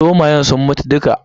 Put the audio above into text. Zomayen sun mutu dukka.